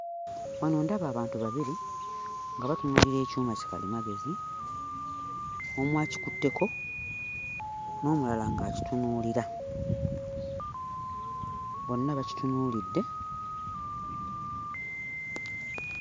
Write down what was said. Wano ndaba abantu babiri nga batunuulira ekyuma kikalimagezi. Omu akikutteko n'omulala ng'akitunuulira. Bonna bakitunuulidde.